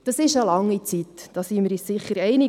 Das ist eine lange Zeit, darin sind wir uns sicher einig.